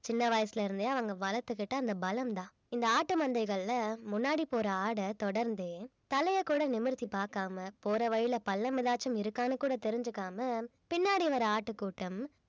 சின்ன வயசுல இருந்தே அவங்க வளர்த்துக்கிட்ட அந்த பலம்தான் இந்த ஆட்டு மந்தைகள்ல முன்னாடி போற ஆட தொடர்ந்து தலைய கூட நிமிர்த்தி பார்க்காம போற வழியில பள்ளம் ஏதாச்சும் இருக்கான்னு கூட தெரிஞ்சுக்காம பின்னாடி வர ஆட்டுக்கூட்டம்